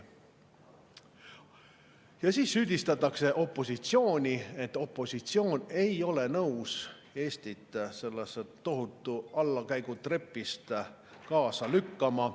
Ja siis süüdistatakse opositsiooni, et opositsioon ei ole nõus Eestit tohutul allakäigutrepil kaasa lükkama.